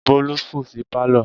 Bólú sùn sí Pálọ̀.